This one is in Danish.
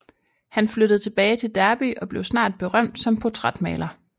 Han flyttede tilbage til Derby og blev snart berømt som portrætmaler